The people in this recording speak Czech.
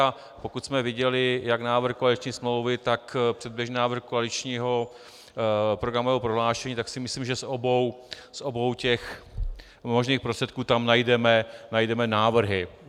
A pokud jsme viděli jak návrh koaliční smlouvy, tak předběžný návrh koaličního programového prohlášení, tak si myslím, že z obou těch možných prostředků tam najdeme návrhy.